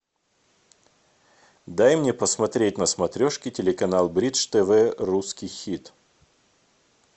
дай мне посмотреть на смотрешке телеканал бридж тв русский хит